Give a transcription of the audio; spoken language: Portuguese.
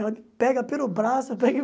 Ela pega pelo braço, pega e